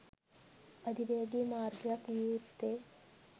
අධිවේගී මාර්ගයක් විය යුත්තේ